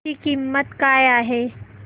ची किंमत काय आहे